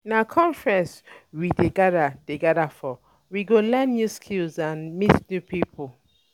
Na um conference um we um dey gather dey gather for, we go learn new skills and meet new people.